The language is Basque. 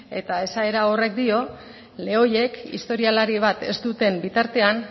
eta esaera horrek dio lehoiek historialari bat ez duten bitartean